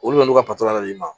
Olu bɛ n'u ka yɛrɛ d'i ma